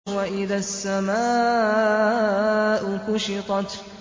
وَإِذَا السَّمَاءُ كُشِطَتْ